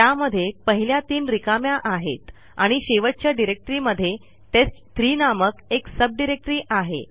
त्यामध्ये पहिल्या तीन रिकाम्या आहेत आणि शेवटच्या डिरेक्टरीमध्ये टेस्ट3 नामक एक सब डिरेक्टरी आहे